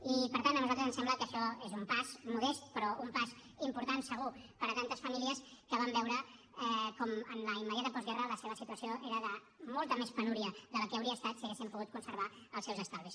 i per tant a nosaltres ens sembla que això és un pas modest però un pas important segur per a tantes famílies que van veure com en la immediata postguerra la seva situació era de molta més penúria que la que hauria estat si haguessin pogut conservar els seus estalvis